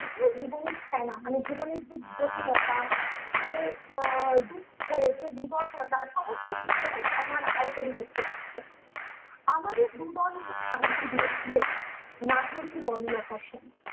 এই জীবনের খেলা মানে জীবনের যে জটিলতা যে আহ দুঃখ যে বিবর্ণতা সমস্ত কিছু যেন ফেনার আকারে কবি দেখতে পাচ্ছেন আমাদের দু দন্ড শান্তি দিয়ে ছিল নাটুরির বনলতা সেন